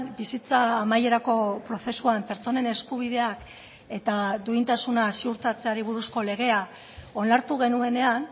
bizitza amaierako prozesuan pertsonen eskubideak eta duintasuna ziurtatzeari buruzko legea onartu genuenean